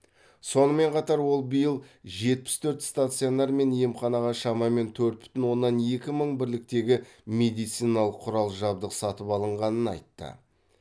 сонымен қатар ол биыл жетпіс төрт стационар мен емханаға шамамен төрт бүтін оннан екі мың бірліктегі медициналық құрал жабдық сатып алынғанын айтты